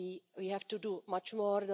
no law. We have to do much